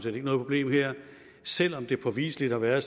er noget problem dér selv om det påviseligt har været